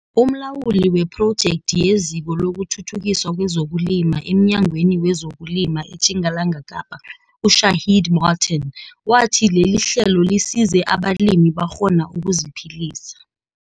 Umlawuli wephrojekthi yeziko lokuthuthukiswa kwezokulima emNyangweni wezokuLima eTjingalanga Kapa, uShaheed Martin wathi lelihlelo lisize abalimi bakghona ukuziphilisa.